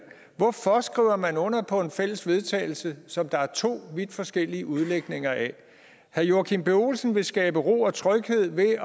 hvorfor skriver man under på en fælles vedtagelse som der er to vidt forskellige udlægninger af herre joachim b olsen vil skabe ro og tryghed ved at